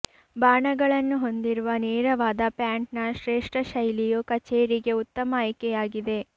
ಬಾಣಗಳನ್ನು ಹೊಂದಿರುವ ನೇರವಾದ ಪ್ಯಾಂಟ್ನ ಶ್ರೇಷ್ಠ ಶೈಲಿಯು ಕಚೇರಿಗೆ ಉತ್ತಮ ಆಯ್ಕೆಯಾಗಿದೆ